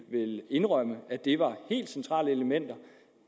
indrømme at det var helt centrale elementer